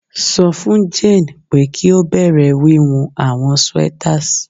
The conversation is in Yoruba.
Sọ fun Jane pe ki o bẹrẹ wiwun awọn sweaters